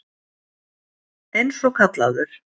Eins og kallaður.